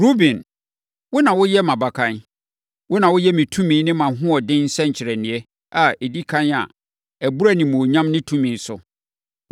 “Ruben, wo na woyɛ mʼabakan. Wo na woyɛ me tumi ne mʼahoɔden nsɛnkyerɛnneɛ a ɛdi ɛkan a ɛboro animuonyam ne tumi so.